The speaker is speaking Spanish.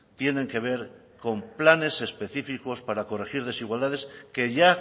tienen que ver con planes específicos para corregir desigualdades que ya